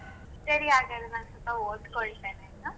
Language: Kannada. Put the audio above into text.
ಸರಿ ಹಾಗಾದ್ರೆ ನಾನ್ ಸ್ವಲ್ಪ ಓದ್ಕೊಳ್ತೆನೆ ಆಯ್ತಾ.